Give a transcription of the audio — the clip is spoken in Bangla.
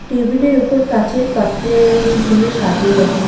টেবিল -এর উপর কাঁচের পাত্রে কি সুন্দর সাজিয়ে রাখা।